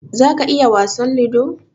za ka iya wasan lido?